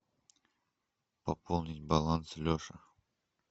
пополнить баланс леша